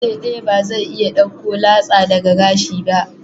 Farce daya ba zai iya dauko latsa daga gashi ba.